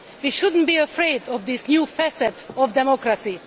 We should not be afraid of this new facet of democracy.